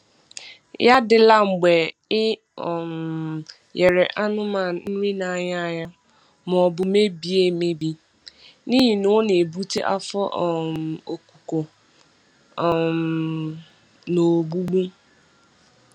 Ya adịla mgbe I um nyere anụmanụ nri n’anya anya maọbụ mebie emebi n'ihi na ọ na-ebute afọ um okuko um na ogbugbu.